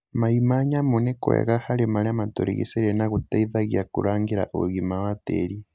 mai ma nyamũ nĩ kwega harĩ marĩa matũrigicĩirie na gũteithagia kũrangĩra ũgima wa tĩri.